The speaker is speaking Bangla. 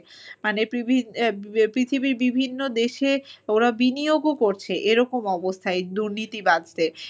মানে পৃথিবীর বিভিন্ন দেশে ওরা বিনিয়োগও করছে এরকম অবস্থা এই দুর্নীতিবাজদের।